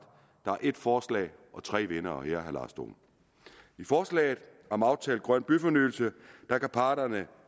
der er ét forslag og tre vindere her meddele herre lars dohn i forslaget om aftalt grøn byfornyelse kan parterne